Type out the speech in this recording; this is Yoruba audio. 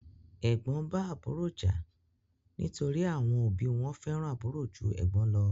Ẹ̀gbọ́n bá àbúrò jà nítorí àwọn òbí wọ́n fẹ́ràn àbúrò jú ẹ̀gbọ́n lọ.